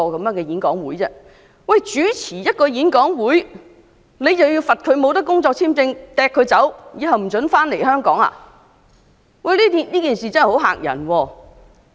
單單主持一個演講會，便要被罰不能續領工作簽證，並被驅逐及永久不准返回香港，這件事真的聳人聽聞。